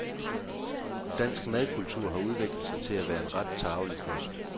Dansk madkultur har udviklet sig til at være en ret tarvelig kost.